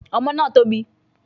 Ọmọ náà tóbi